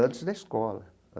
Antes da escola.